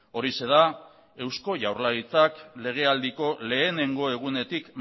horixe da eusko jaurlaritzak legealdiko lehenengo egunetik